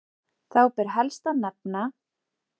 Þá ber helst að nefna